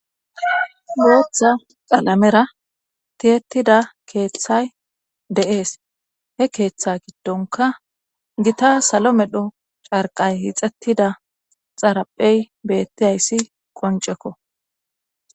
Booththa xalamera tiyettida keeththay de7ees he keeththa giddonka gita salo medho carqay hixettida xaraphey bettiyayssi qoncekko.